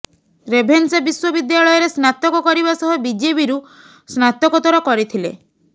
Ravenshaw ବିଶ୍ୱବିଦ୍ୟାଳୟରେ ସ୍ନାତକ କରିବା ସହ ବିଜେପିରୁ ସ୍ନାତକୋତ୍ତର କରିଥିଲେ